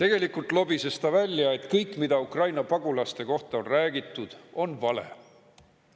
Tegelikult lobises ta välja, et kõik, mida Ukraina pagulaste kohta on räägitud, on vale.